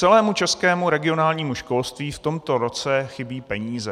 Celému českému regionálnímu školství v tomto roce chybí peníze.